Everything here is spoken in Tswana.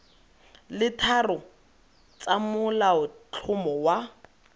le tharo tsa molaotlhomo wa